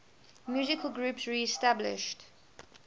musical groups reestablished